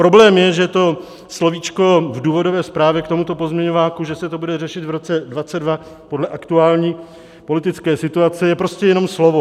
Problém je, že to slovíčko v důvodové zprávě k tomuto pozměňováku, že se to bude řešit v roce 2022 podle aktuální politické situace, je prostě jenom slovo.